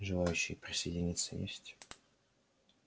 желающие присоединиться есть